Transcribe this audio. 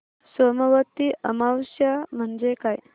सोमवती अमावस्या म्हणजे काय